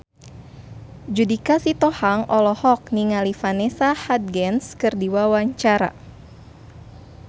Judika Sitohang olohok ningali Vanessa Hudgens keur diwawancara